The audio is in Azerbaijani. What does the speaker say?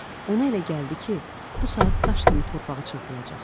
Ona elə gəldi ki, bu saat daş kimi torpağa çırpılacaq.